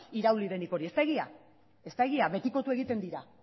irauli denik hori ez da egia betikotu egiten dira